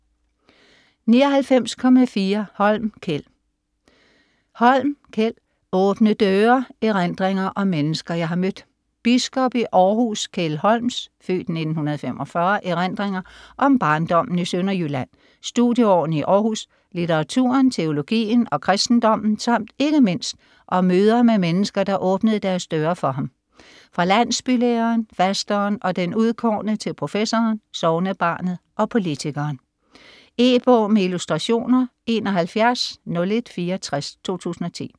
99.4 Holm, Kjeld Holm, Kjeld: Åbne døre: erindringer om mennesker jeg har mødt Biskop i Århus, Kjeld Holms (f. 1945) erindringer om barndommen i Sønderjylland, studieårene i Århus, litteraturen, teologien og kristendommen samt ikke mindst om møder med mennesker, der åbnede deres døre for ham - fra landsbylæreren, fasteren og den udkårne til professoren, sognebarnet og politikeren. E-bog med illustrationer 710164 2010.